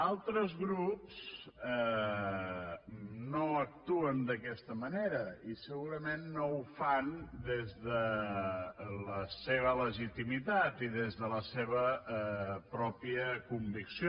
altres grups no actuen d’aquesta manera i segurament no ho fan des de la seva legitimitat i des de la seva pròpia convicció